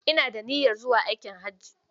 Ina da niyyar zuwa aikin hajji